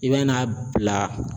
I bɛ n'a bila